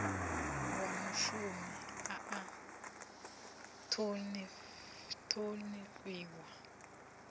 wa mushumi a a ṱhonifhiwa